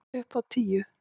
Upp á tíu!